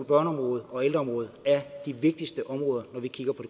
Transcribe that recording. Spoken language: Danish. børneområdet og ældreområdet er de vigtigste områder når vi kigger på